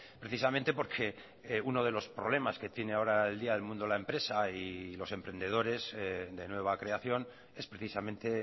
precisamente porque uno de los problemas que tiene ahora el día del mundo de la empresa y los emprendedores de nueva creación es precisamente